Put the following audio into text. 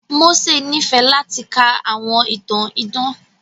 Mósè nífẹ̀ẹ́ láti ka àwọn ìtàn idán.